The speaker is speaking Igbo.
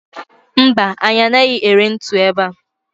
Mba, anyị anaghị ere ntu ebe a.